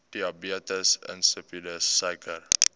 diabetes insipidus suiker